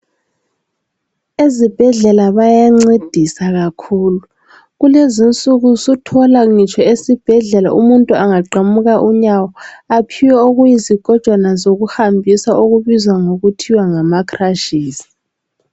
Ezibhedlela bayancedisa kakhulu kulezinsuku suthola ngitsho ezibhedlela umuntu angaqamuka unyawo aphiwe okuyizigojwana zokuhambisa okubizwa ngokuthiwa ngama crutches.